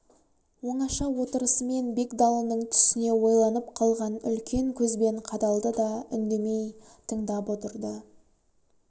оңаша отырысымен бегдалының түсіне ойланып қалған үлкен көзбен қадалды да үндемей тыңдап отырды